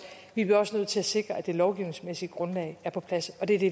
vi bliver også nødt til at sikre at det lovgivningsmæssige grundlag er på plads og det er det